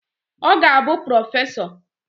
Ọ ga-abụ prọfesọ